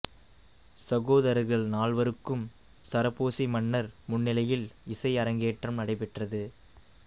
சகோதரர்கள் நால்வருக்கும் சரபோசி மன்னர் முன்னிலையில் இசை அரங்கேற்றம் நடைபெற்றது